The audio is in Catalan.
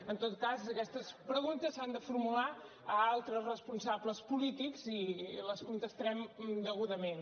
en tot cas aquestes preguntes s’han de formular a altres responsables polítics i les contestarem degudament